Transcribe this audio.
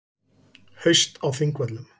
Haust á Þingvöllum.